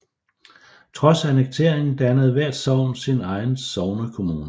Trods annekteringen dannede hvert sogn sin egen sognekommune